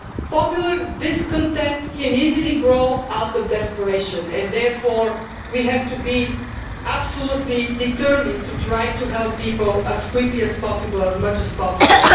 Popular discontent can easily grow out of desperation and therefore, we have to be absolutely determined to try to help people as quickly as possible, as much as possible.